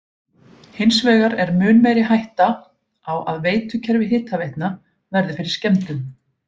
Hins vegar er mun meiri hætta er á að veitukerfi hitaveitna verði fyrir skemmdum.